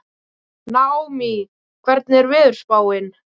Naómí, hvernig er veðurspáin?